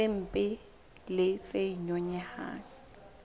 tse mpe le tse nyonyehang